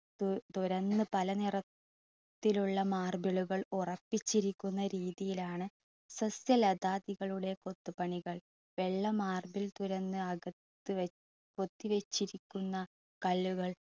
തുറന്ന് പല രീതിയിലുള്ള marble കൾ ഉറപ്പിച്ചിരിക്കുന്ന രീതിയിൽ ആണ് സസ്യലതാദികളുടെ കൊത്തുപണികൾ. വെള്ള marble തുറന്ന് അകത്തു കൊത്തിവച്ചിരിക്കുന്ന കൾ